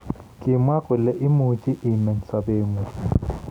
Kimwa kole imuchii imeny sabeengung